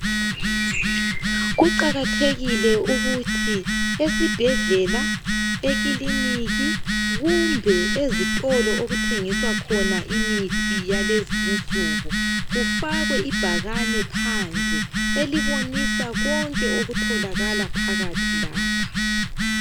Kuqakathekile ukuthi esibhedlela, ekiliniki kumbe ezitolo okuthengiswa khona imithi yalezi insuku, kufakwe ibhakane phandle. Elibonisa konke okutholakala phakathi lapha.